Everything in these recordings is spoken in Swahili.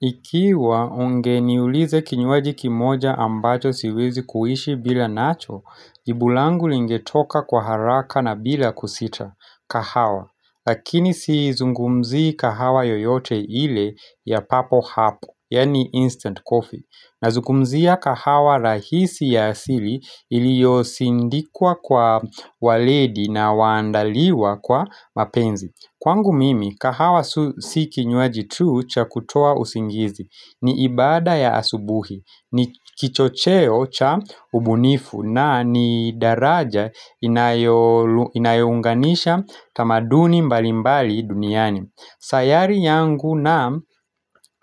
Ikiwa ungeniuliza kinywaji kimoja ambacho siwezi kuishi bila nacho, jibu langu lingetoka kwa haraka na bila kusita. Kahawa. Lakini sizungumzii kahawa yoyote ile ya papo hapo, yani instant coffee. Nazungumzia kahawa rahisi ya asili iliyosindikwa kwa waledi na waandaliwa kwa mapenzi. Kwangu mimi, kahawa si kinywaji tu cha kutoa usingizi ni ibadaa ya asubuhi, ni kichocheo cha ubunifu na ni daraja inayounganisha tamaduni mbalimbali duniani. Sayari yangu na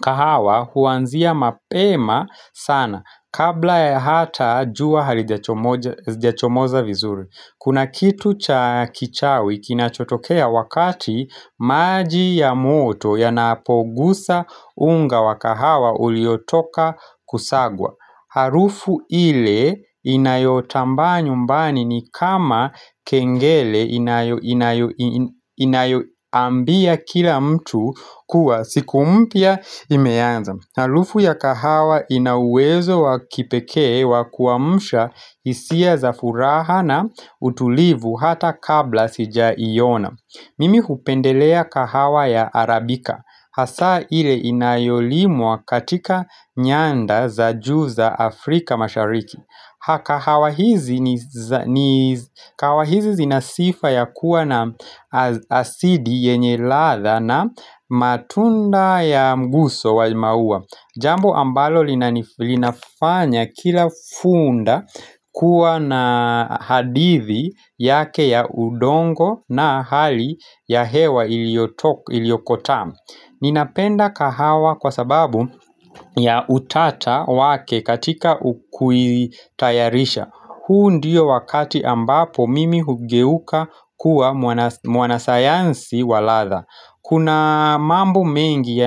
kahawa huanzia mapema sana kabla ya hata jua halijachomoza vizuri. Kuna kitu cha kichawi kinachotokea wakati maji ya moto yanapoguza unga wa kahawa uliotoka kusagwa. Harufu ile inayotambaa nyumbani ni kama kengele inayoambia kila mtu kuwa siku mpya imeanza. Na harufu ya kahawa inauwezo wakipekee wakuamsha hisia za furaha na utulivu hata kabla sijaiona. Mimi hupendelea kahawa ya Arabika. Hasa ile inayolimwa katika nyanda za juu za Afrika mashariki. Kahawa hizi zinasifa ya kuwa na asidi yenye radha na matunda ya mguso wa maua Jambo ambalo linafanya kila funda kuwa na hadithi yake ya udongo na hali ya hewa iliyokotamu Ninapenda kahawa kwa sababu ya utata wake katika kuitayarisha. Huu ndio wakati ambapo mimi hugeuka kuwa mwana sayansi waradhaa. Kuna mambo mengi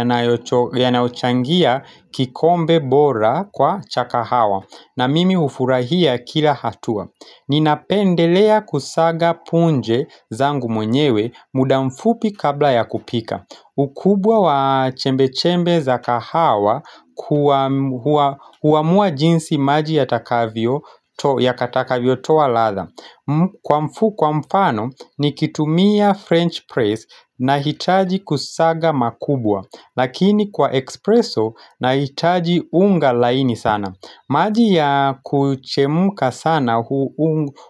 yanayochangia kikombe bora kwa cha kahawa na mimi hufurahia kila hatua. Ninapendelea kusaga punje zangu mwenyewe muda mfupi kabla ya kupika. Ukubwa wa chembe-chembe za kahawa huamua jinsi maji yakatakavyo toa radhaa Kwa mfano nikitumia French press na hitaji kusaga makubwa Lakini kwa espresso nahitaji unga laini sana maji ya kuchemka sana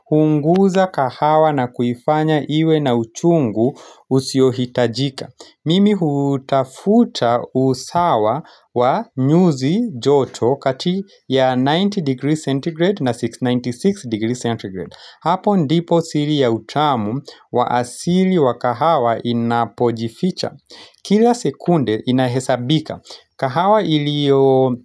huunguza kahawa na kufanya iwe na uchungu usiohitajika Mimi hutafuta usawa wa nyuzi joto kati ya 90 degrees centigrade na 696 degrees centigrade Hapo ndipo siri ya utamu wa asili wa kahawa inapojificha Kila sekunde inahesabika kahawa iliyo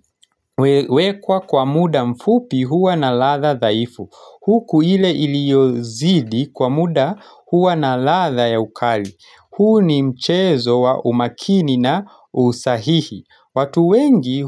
wekwa kwa muda mfupi huwa na radhaa dhaifu Huku ile iliyozidi kwa muda huwa na radhaa ya ukali huu ni mchezo wa umakini na usahihi watu wengi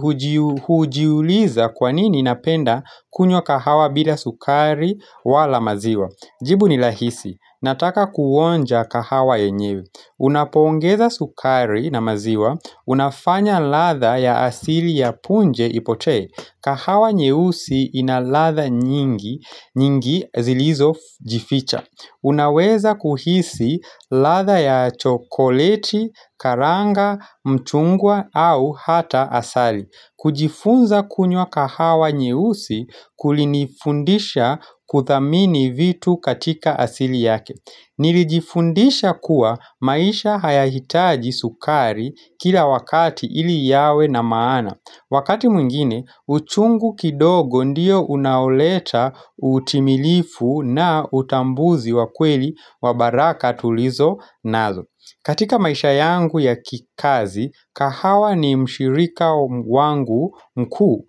hujiuliza kwanini napenda kunywa kahawa bila sukari wala maziwa Jibu ni rahisi, nataka kuonja kahawa yenyewe Unapoongeza sukari na maziwa, unafanya radhaa ya asili ya punje ipote kahawa nyeusi inaradhaa nyingi zilizojificha Unaweza kuhisi radha ya chokoleti, karanga, mchungwa au hata asali kujifunza kunywa kahawa nyeusi kulinifundisha kuthamini vitu katika asili yake Nilijifundisha kuwa maisha hayahitaji sukari kila wakati iliyawe na maana Wakati mwingine, uchungu kidogo ndiyo unaoleta utimilifu na utambuzi wakweli wabaraka tulizo nazo katika maisha yangu ya kikazi, kahawa ni mshirika wangu mkuu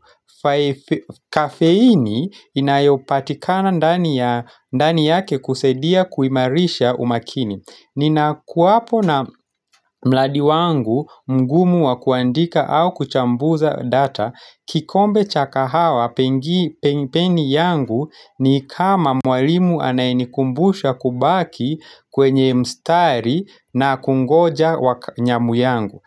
Kafeini inayopatikana ndani yake kusaidia kuimarisha umakini Ninakuwapo na mradi wangu mgumu wakuandika au kuchambuza data kikombe cha kahawa peni yangu ni kama mwalimu anayenikumbusha kubaki kwenye mstari na kungoja nyamu yangu.